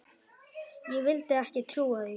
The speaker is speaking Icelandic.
Ég vildi ekki trúa því.